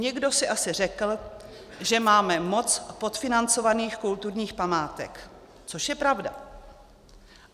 Někdo si asi řekl, že máme moc podfinancovaných kulturních památek, což je pravda.